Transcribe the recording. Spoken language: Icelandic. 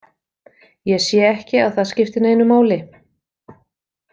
Ég sé ekki að það skipti neinu máli.